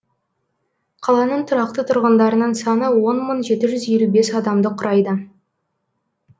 қаланың тұрақты тұрғындарының саны он мың жеті жүз елу бес адамды құрайды